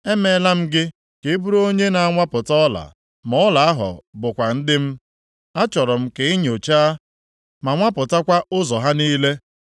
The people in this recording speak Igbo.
“Emeela m gị ka ị bụrụ onye na-anwapụta ọla, ma ọla ahụ bụkwa ndị m. Achọrọ m ka i nyochaa ma nwapụtakwa ụzọ ha niile.